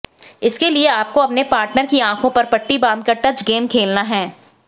इसके लिए आपको अपने पार्टनर की आंखों पर पट्टी बांधकर टच गेम खेलना है